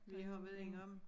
Vi har været inde om